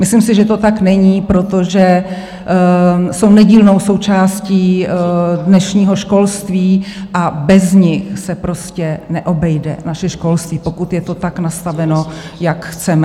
Myslím si, že to tak není, protože jsou nedílnou součástí dnešního školství, a bez nich se prostě neobejde naše školství, pokud je to tak nastaveno, jak chceme.